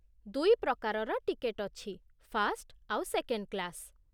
ଦୁଇ ପ୍ରକାରର ଟିକେଟ୍ ଅଛି, ଫାର୍ଷ୍ଟ ଆଉ ସେକେଣ୍ଡ କ୍ଲାସ୍ ।